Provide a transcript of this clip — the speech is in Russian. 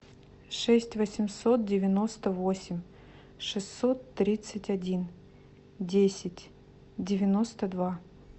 шесть восемьсот девяносто восемь шестьсот тридцать один десять девяносто два